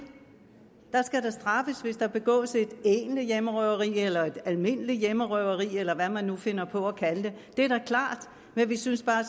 der skal da straffes hvis der begås et egentlig hjemmerøveri eller almindeligt hjemmerøveri eller hvad man nu finder på at kalde det det er da klart men vi synes